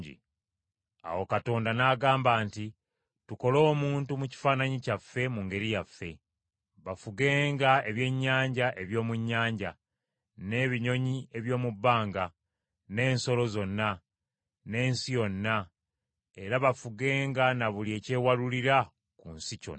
Awo Katonda n’agamba nti, “Tukole omuntu mu kifaananyi kyaffe mu ngeri yaffe. Bafugenga ebyennyanja eby’omu nnyanja, n’ebinyonyi eby’omu bbanga, n’ensolo zonna, n’ensi yonna, era bafugenga na buli ekyewalulira ku nsi kyonna.”